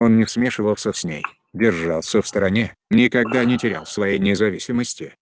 он не смешивался с ней держался в стороне никогда не терял своей независимости